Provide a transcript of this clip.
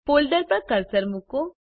folder પર cursor મૂકો